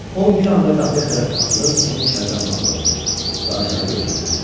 O bir anda qapıya tərəf atılıb onu içəridən bağladı və aşağı götürdü.